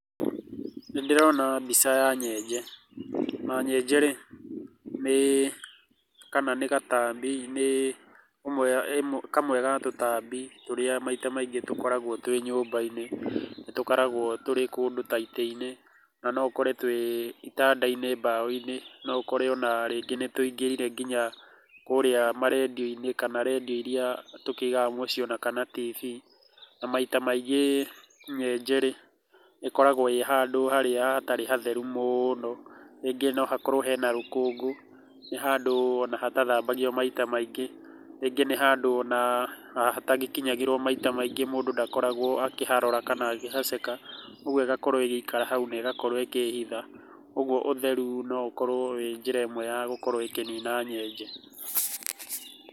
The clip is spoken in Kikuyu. Nĩ ndĩrona mbica ya nyenje, na nyenje rĩ nĩ gatambi kana nĩ kamwe ga tũtambi tũrĩa maita maingĩ tũkoragũo twĩ nyũmba-inĩ. Nĩ tũkoragũo tũrĩ kũndũ ta itĩ-inĩ na no ũkore twĩ itanda-inĩ mbaũ-inĩ, no ũkore rĩngĩ nĩ tũingĩrire nginya kũrĩa ma redio-inĩ kana redio irĩa tũkĩigaga mũciĩ ona kana TV. Na maita maingĩ nyenje rĩ, ĩkoragũo ĩĩ handũ harĩa hatarĩ hatheru mũno, rĩngĩ no hakorũo hena rũkũngũ, nĩ handũ ona hatathambagio maita maingĩ, rĩngĩ nĩ handũ ona hatagĩkinyagĩrũo maita maingĩ mũndũ ndakoragũo akĩharora kana akĩhaceka, ũguo ĩgakorũo ĩgĩikara hau na ĩgakorũo ĩkĩĩhitha. Ũguo ũtheru no ũkorũo wĩ njĩra ĩmwe ya kũnina nyenje.